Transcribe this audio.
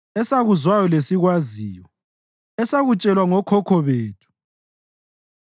esakuzwayo lesikwaziyo esakutshelwa ngokhokho bethu.